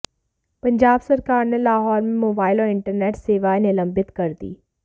पंजाब सरकार ने लाहौर में मोबाइल और इंटरनेट सेवाएं निलंबित कर दीं